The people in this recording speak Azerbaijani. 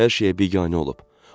Artıq hər şeyə biganə olub.